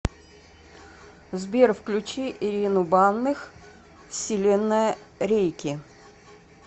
сбер включи ирину банных вселенная рейки